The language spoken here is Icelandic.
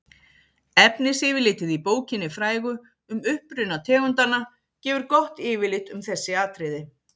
efnisyfirlitið í bókinni frægu um uppruna tegundanna gefur gott yfirlit um þessi atriði